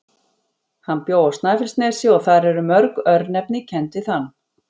Hann bjó á Snæfellsnesi og þar eru mörg örnefni kennd við hann.